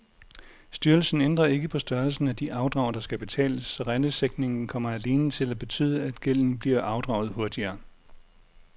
Styrelsen ændrer ikke på størrelsen af de afdrag, der skal betales, så rentesænkningen kommer alene til at betyde, at gælden bliver afdraget hurtigere.